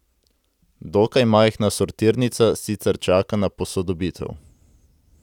Dokaj majhna sortirnica sicer čaka na posodobitev.